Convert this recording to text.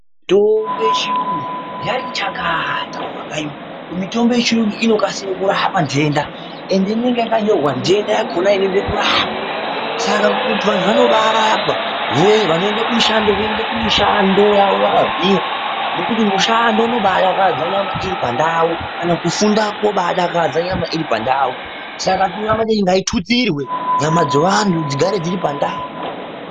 Mutombo yechiyungu yati chakata mumakanyi umwu. Mitombo yechiyungu inokasira kuramba ntenda ende inenge yakanyorwa ntenda yakona inoda kurapwa. Saka vantu vanobarapwa vanoenda kumushando voenda kumishando yavo vakagwinya nekuti mushando unobadakadza nyama iripandau kana kufunda kunibadakadza nyama iripandau. Saka tinoramba teiti ngaitutsirwe nyama dzevantu dzigare dziri pandau.